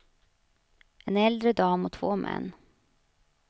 En äldre dam och två män.